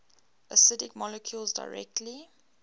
acidic molecules directly